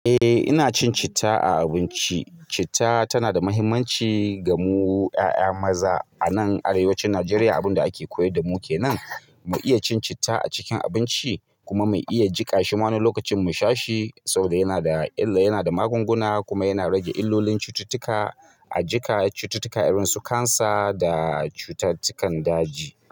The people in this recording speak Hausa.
Eh, ina cin citta a abinci. Citta tana da muhimmanci ga mu ƴaƴa maza a nan arewacin Najeriya. Abin da ake koyar da mu ke nan, mu iya cin citta a cikin abinci kuma mu iya jiƙa shi ma wani lokacin mu sha shi saboda yana da illa, yana da magunguna kuma yana rage illolin cututtuka a jika, cututtuka irin su cancer da cututtukan daji.